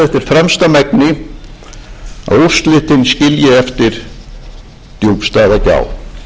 fremsta megni að úrslitin skilji eftir djúpstæða gjá á þessum sögulegu tímamótum hvílir þá einstæð ábyrgð